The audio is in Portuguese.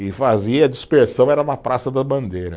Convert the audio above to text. E fazia, a dispersão era na Praça da Bandeira.